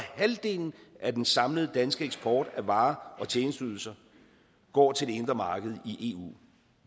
halvdelen af den samlede danske eksport af varer og tjenesteydelser går til det indre marked i eu